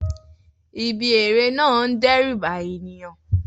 Ibi eré náà ń dẹ́rù ba ènìyàn